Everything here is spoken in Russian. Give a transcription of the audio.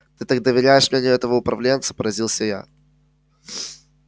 ты так доверяешь мнению этого управленца поразился я